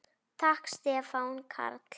Takk Stefán Karl.